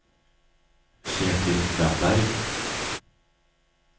Kjetil Ramberg